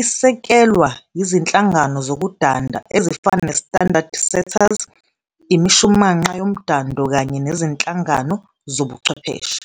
isekelwa yizinhlangano zokudanda ezifana ne-standard-setters, imishumanqa yomdando kanye nezinhlangano zobuchwepheshe.